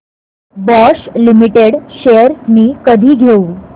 Bosch limited shares मी कधी घेऊ